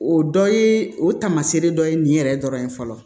O dɔ ye o tamasere dɔ ye nin yɛrɛ dɔrɔn ye fɔlɔ